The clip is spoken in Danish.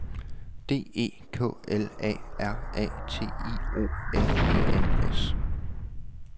D E K L A R A T I O N E N S